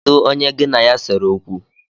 Kedụ onye gị na ya sere okwu?